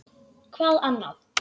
Hvað annað?